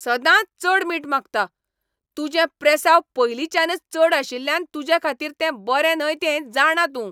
सदांच चड मीठ मागता! तुजें प्रेसांव पयलींच्यानच चड आशिल्ल्यान तुजेखातीर तें बरें न्हय हें जाणां तूं.